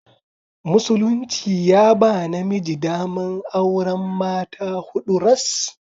Musulunci ya ba namiji daman auran mata huɗu ras.